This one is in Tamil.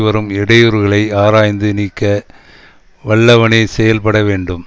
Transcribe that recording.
வரும் இடையூறுகளைஆராய்ந்து நீக்க வல்லவனே செயல் பட வேண்டும்